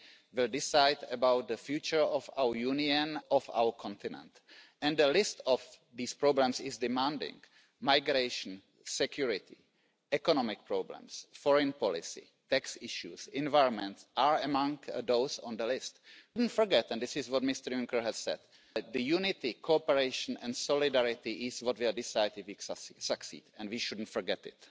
Mă interesează părerea dumneavoastră, pentru că nu v ați exprimat punctul de vedere acum. Ce părere aveți putem noi să avem pace și prosperitate, fără coeziune? Sunteți de acord cu faptul că se taie din Fondul de coeziune? Cel puțin asta este propunerea Comisiei în exercițiul următor, să se diminueze fondurile de coeziune. Cum vom avea prosperitate și cum vom avea înțelegere în piața internă?